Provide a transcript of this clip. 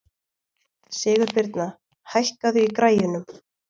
Sigurbirna, hækkaðu í græjunum.